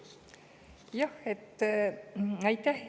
Aitäh!